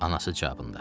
Anası cavabında.